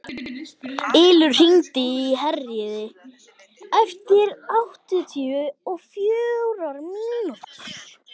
Ylur, hringdu í Herríði eftir áttatíu og fjórar mínútur.